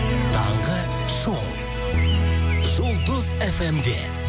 таңғы шоу жұлдыз фм де